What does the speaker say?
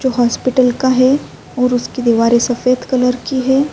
جو ہسپتال کا ہے اور اسکی دوارے سفید کلر کی ہے۔